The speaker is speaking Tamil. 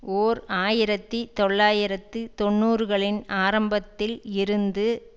ஓர் ஆயிரத்தி தொள்ளாயிரத்து தொன்னூறுகளின் ஆரம்பத்தில் இருந்து